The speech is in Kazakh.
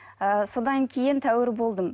ы содан кейін тәуір болдым